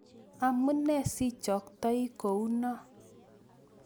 Amune sichoktoi kouno?